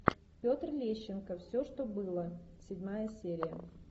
петр лещенко все что было седьмая серия